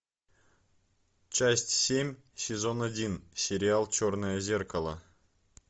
часть семь сезон один сериал черное зеркало